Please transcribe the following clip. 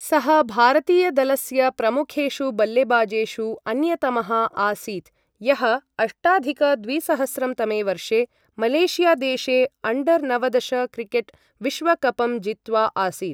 सः भारतीयदलस्य प्रमुखेषु बल्लेबाजेषु अन्यतमः आसीत् यः अष्टाधिक द्विसहस्रं तमे वर्षे मलेशियादेशे अण्डर नवदश क्रिकेट् विश्वकपं जित्वा आसीत् ।